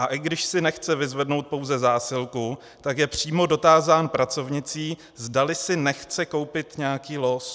A i když si nechce vyzvednout pouze zásilku, tak je přímo dotázán pracovnicí, zdali si nechce koupit nějaký los.